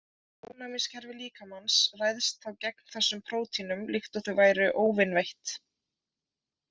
Ónæmiskerfi líkamans ræðst þá gegn þessum prótínum líkt og þau væru óvinveitt.